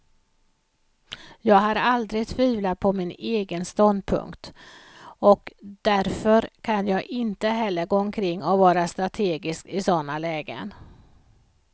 Jag har aldrig tvivlat på min egen ståndpunkt, och därför kan jag inte heller gå omkring och vara strategisk i sådana lägen.